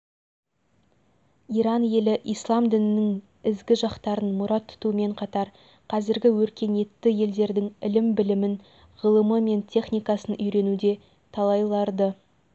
иран елі ислам дінінің ізгі жақтарын мұрат тұтумен қатар қазіргі өркениетті елдердің ілім-білімін ғылымы мен техникасын үйренуде талайларды